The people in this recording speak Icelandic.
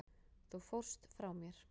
Þú fórst frá mér.